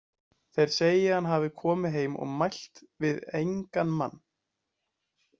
Þeir segja að hann hafi komið heim og mælt við engan mann.